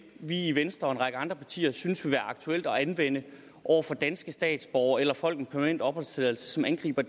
vi i venstre og en række andre partier synes være aktuelt at anvende over for danske statsborgere eller folk med permanent opholdstilladelse som angriber